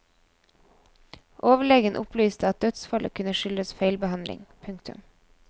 Overlegen opplyste at dødsfallet kunne skyldes feilbehandling. punktum